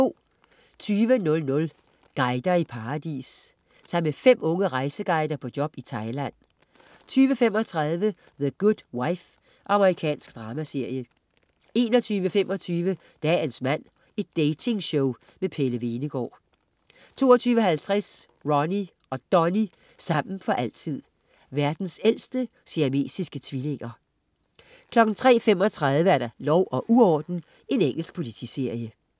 20.00 Guider i paradis. Tag med fem unge rejseguider på job i Thailand 20.35 The Good Wife. Amerikansk dramaserie 21.25 Dagens mand. Dating-show med Pelle Hvenegaard 22.50 Ronnie og Donnie, sammen for altid. Verdens ældste siamesiske tvillinger 03.35 Lov og uorden. Engelsk politiserie